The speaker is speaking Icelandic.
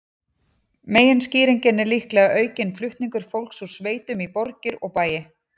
Meginskýringin er líklega aukinn flutningur fólks úr sveitum í borgir og bæi.